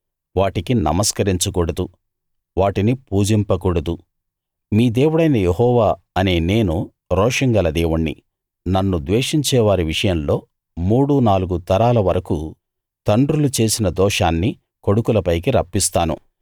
వాటికి నమస్కరించకూడదు వాటిని పూజింపకూడదు మీ దేవుడైన యెహోవా అనే నేను రోషం గల దేవుణ్ణి నన్ను ద్వేషించేవారి విషయంలో మూడు నాలుగు తరాల వరకూ తండ్రులు చేసిన దోషాన్ని కొడుకులపైకి రప్పిస్తాను